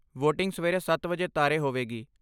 voting ਸਵੇਰੇ ਸੱਤ ਵਜੇ ਤਾਰੇ ਹੋਵੇਗੀ